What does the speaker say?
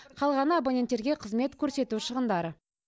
қалғаны абоненттерге қызмет көрсету шығындары